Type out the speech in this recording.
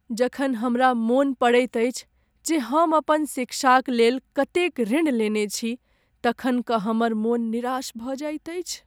जखन हमरा मन पड़ैत अछि जे हम अपन शिक्षाकलेल कतेक ऋण लेने छी तखन कऽ हमर मन निराश भऽ जाइत अछि।